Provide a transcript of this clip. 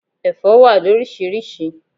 Ẹ̀fọ́ wà loríṣiríṣi.